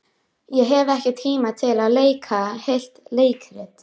Ég hef ekki tíma til að leika heilt leikrit.